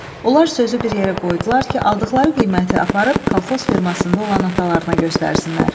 Onlar sözü bir yerə qoydular ki, aldıqları qiyməti aparıb kolxoz fermasında olan atalarına göstərsinlər.